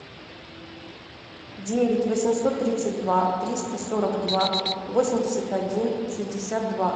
девять восемьсот тридцать два триста сорок два восемьдесят один шестьдесят два